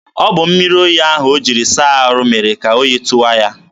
ọ bụ mmiri oyi ahụ o jiri saa ahụ mere ka oyi tụwa ya.